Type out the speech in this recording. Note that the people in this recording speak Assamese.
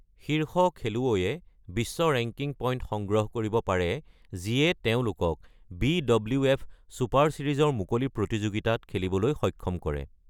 শীৰ্ষ খেলুৱৈয়ে বিশ্ব ৰেংকিং পইণ্ট সংগ্ৰহ কৰিব পাৰে যিয়ে তেওঁলোকক বি.ডব্লিউ.এফ. ছুপাৰ ছিৰিজৰ মুকলি প্ৰতিযোগিতাত খেলিবলৈ সক্ষম কৰে।